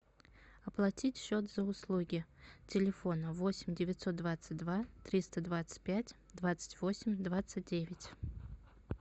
оплатить счет за услуги телефона восемь девятьсот двадцать два триста двадцать пять двадцать восемь двадцать девять